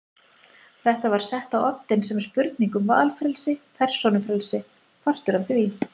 Þetta var sett á oddinn sem spurning um valfrelsi, persónufrelsi, partur af því.